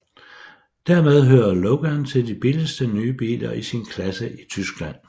Dermed hører Logan til de billigste nye biler i sin klasse i Tyskland